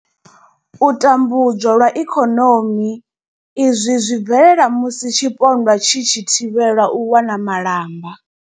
U tambudzwa lwa ikonomi izwi zwi bvelela musi tshipondwa tshi tshi thivhelwa u wana malamba.